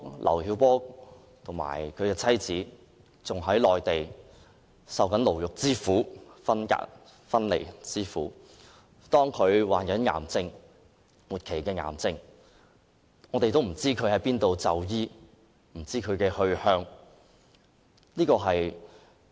劉曉波和其妻子仍在內地受牢獄之苦和分離之苦，即使劉曉波患了末期癌症也不知道要往哪裏就醫。